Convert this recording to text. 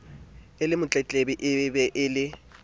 le motletlebi e be le